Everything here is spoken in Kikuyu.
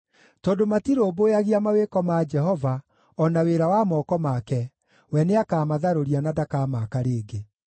Tondũ matirũmbũyagia mawĩko ma Jehova o na wĩra wa moko make, we nĩakamatharũria na ndakamaaka rĩngĩ.